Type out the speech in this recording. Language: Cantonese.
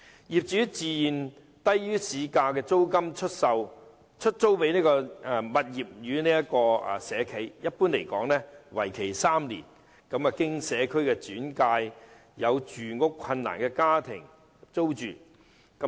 業主自願以低於市價的租金出租物業予社企，一般租約為期3年，讓有住屋困難的家庭經社工轉介租住。